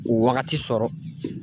O wagati sɔrɔ.